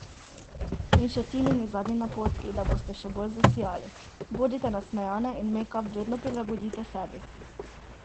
In še Tinini zadnji napotki, da boste še bolj zasijali: "Bodite nasmejane in mejkap vedno prilagodite sebi.